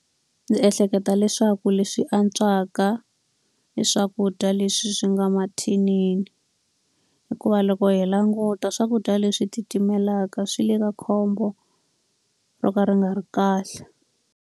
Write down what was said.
Ndzi ehleketa leswaku leswi antswaka i swakudya leswi swi nga mathinini. Hikuva loko hi languta swakudya leswi titimelaka swi le ka khombo ro ka ri nga ri kahle.